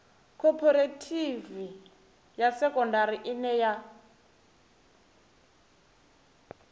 khophorethivi ya sekondari ine ya